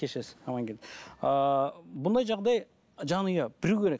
кешірерсіз амангелді ыыы бұндай жағдай жанұя білу керек